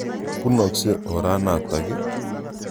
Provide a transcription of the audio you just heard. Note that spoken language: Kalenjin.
Punokse ora natak ii?